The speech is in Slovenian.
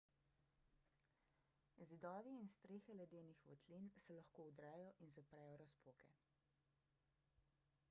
zidovi in strehe ledenih votlin se lahko vdrejo in zaprejo razpoke